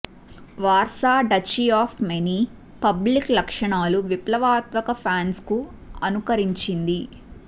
Warsaw duchy of many public లక్షణాలు విప్లవాత్మక ఫ్రాన్స్కు అనుకరించింది